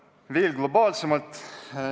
Tuleks mõelda veel globaalsemalt.